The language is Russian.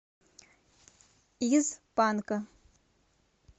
из панка